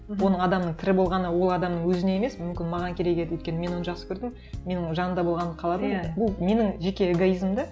оның адамның тірі болғаны ол адамның өзіне емес мүмкін маған керек еді өйткені мен оны жақсы көрдім мен оның жанымда болғанын қаладым иә ол менің жеке эгоизмім де